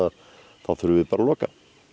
þá þurfum við bara að loka